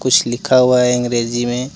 कुछ लिखा हुआ है अंग्रेजी में।